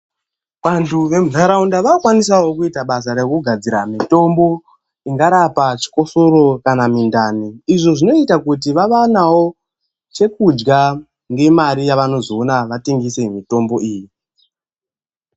Vantu vemunharaunda vakukwanisawo kuita basa rekugadzira mitombo inorapa chikosoro kana mundani izvo zvinoita kuti vawane chekudya nemari yavanowana pakutengesa mitombo iyi